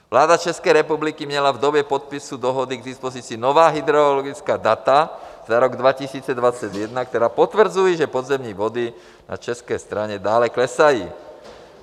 Vláda České republiky měla v době podpisu dohody k dispozici nová hydrologická data za rok 2021, která potvrzují, že podzemní vody na české straně dále klesají.